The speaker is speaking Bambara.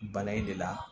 Bana in de la